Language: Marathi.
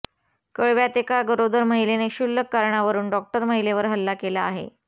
कळव्यात एका गरोदवर महिलेने क्षुल्लक कारणावरून डॉक्टर महिलेवर हल्ला केला आहे